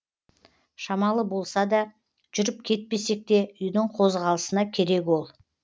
шамалы болса да жүріп кетпесек те үйдің қозғалысына керек ол